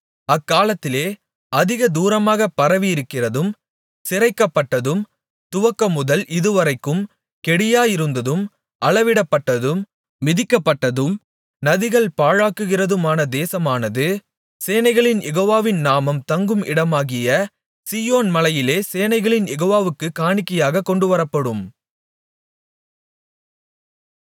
அக்காலத்திலே அதிக தூரமாகப் பரவியிருக்கிறதும் சிரைக்கப்பட்டதும் துவக்கமுதல் இதுவரைக்கும் கெடியாயிருந்ததும் அளவிடப்பட்டதும் மிதிக்கப்பட்டதும் நதிகள் பாழாக்குகிறதுமான தேசமானது சேனைகளின் யெகோவாவின் நாமம் தங்கும் இடமாகிய சீயோன் மலையில் சேனைகளின் யெகோவாவுக்குக் காணிக்கையாகக் கொண்டுவரப்படும்